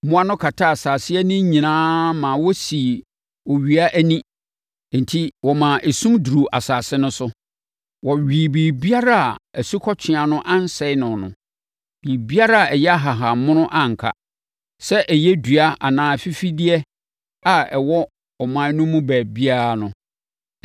Mmoa no kataa asase ani nyinaa ma wɔsii owia ani enti wɔmaa esum duruu asase no so. Wɔwee biribiara a asukɔtweaa no ansɛe no no; biribiara a ɛyɛ ahahammono anka; sɛ ɛyɛ dua anaa afifideɛ a ɛwɔ ɔman no mu baabiara no.